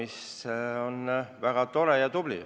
See on ju väga tore ja tubli.